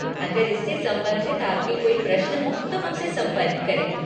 अगर इससे संबंधित आपके कोई प्रश्न हों तो हमसे संपर्क करें।